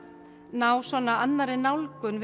ná annarri nálgun